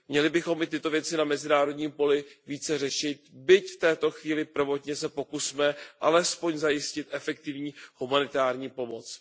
Měli bychom i tyto věci na mezinárodním poli více řešit, byť v této chvíli prvotně se pokusme alespoň zajistit efektivní humanitární pomoc.